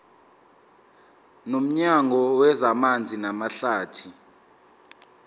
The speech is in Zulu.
nomnyango wezamanzi namahlathi